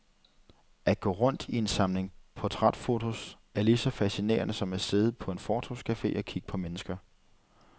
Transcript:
At gå rundt i en samling portrætfotos, er lige så fascinerende som at sidde på en fortovscafe og kigge på mennesker.